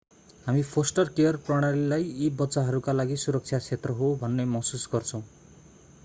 हामी foster care प्रणालीलाई यी बच्चाहरूका लागि सुरक्षा क्षेत्र हो भन्ने महसुस गर्छौँ